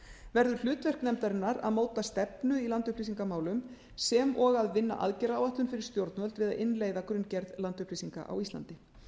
verður hlutverk nefndarinnar að móta stefnu í landupplýsingamálum sem og að vinna aðgerðaráætlun fyrir stjórnvöld við að innleiða grunngerð landupplýsinga á íslandi